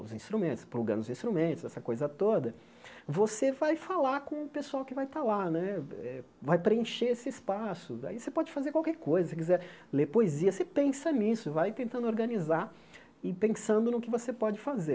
os instrumentos, plugando os instrumentos, essa coisa toda, você vai falar com o pessoal que vai estar lá né, eh vai preencher esse espaço, aí você pode fazer qualquer coisa, se quiser ler poesia, você pensa nisso, vai tentando organizar e pensando no que você pode fazer.